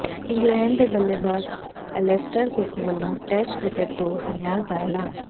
England ਦੇ ਬੱਲੇਬਾਜ਼ Alastair Cook ਵੱਲੋਂ ਟੈਸਟ ਕ੍ਰਿਕਟ ਤੋਂ ਸੰਨਿਆਸ ਦਾ ਐਲਾਨ